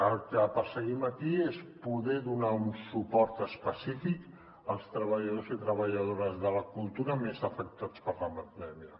el que perseguim aquí és poder donar un suport específic als treballadors i treballadores de la cultura més afectats per la pandèmia